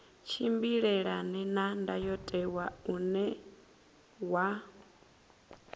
tshimbilelane na ndayotewa une wa